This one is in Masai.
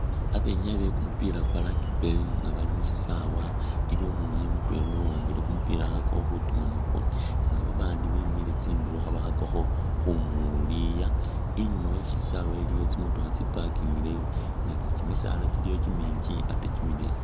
Babenyayi bekumupila kwa rugby nga bali mushisawe, iliwo umwinyayi mutwela uwambile kumupila khakhakakho khutima nakwo nga babandi bemile tsindulo khabakhakakho khumuliya, inyuma wesisawe iliyo tsi'motokha tsi' parkingileyo nga ni kimisaala kyiliyo kyiminji ate kimileyi